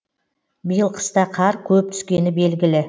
биыл қыста қар көп түскені белгілі